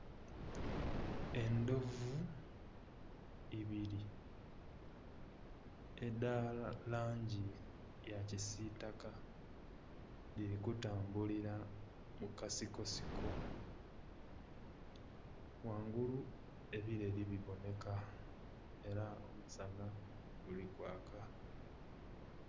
Endhovu ibiri edha langi ya kisitaka dhiri kutambulira mu kasiko siko, ghangulu ebireri bibonheka era omusanha guli kwaaka.